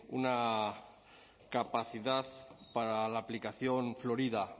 una capacidad para la aplicación florida